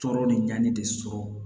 Tɔɔrɔ de ɲannen de sɔrɔ